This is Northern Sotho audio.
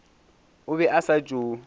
o be a sa tšo